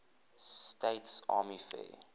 states army air